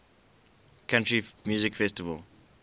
country music festival